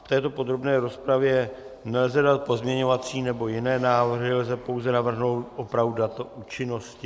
V této podrobné rozpravě nelze dát pozměňovací nebo jiné návrhy, lze pouze navrhnout opravu data účinnosti.